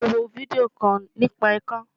Mo wo fídíò kan nípa ikán.